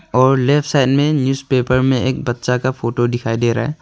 और left side में newspaper में एक बच्चा का फोटो दिखाई दे रहा है।